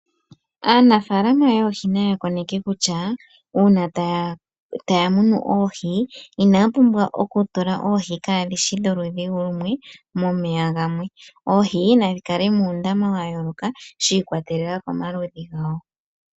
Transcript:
Aanafalama yoohi naya koneke kutya uuna taya munu oohi, inaya pumbwa oku tula oohi kadhishi dholudhi lumwe momeya gamwe. Oohi nadhi kale mundama wayooloka, sha ikwatelela komaludhi gawo.